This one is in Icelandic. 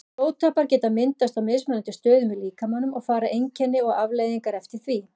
Blóðtappar geta myndast á mismunandi stöðum í líkamanum og fara einkenni og afleiðingar eftir því.